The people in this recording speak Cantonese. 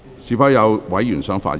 是否有委員想發言？